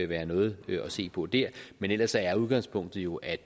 være noget at se på der men ellers er udgangspunktet jo at